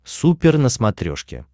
супер на смотрешке